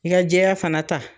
I ka jɛya fana ta.